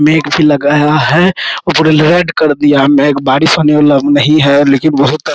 मेघ भी लग रहा है और पूरा रेड कर दिया है मेघ बारिश होने वाला नहीं है लेकिन बहुत --